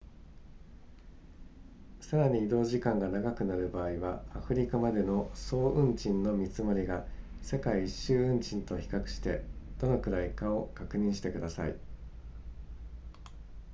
さらに移動時間が長くなる場合はアフリカまでの総運賃の見積もりが世界一周運賃と比較してどのくらいかを確認してください